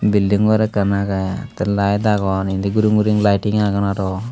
belding gor ekkan agey tey laet agon indi guri guri laeting agon arw.